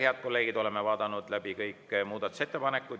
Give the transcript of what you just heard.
Head kolleegid, oleme vaadanud läbi kõik muudatusettepanekud.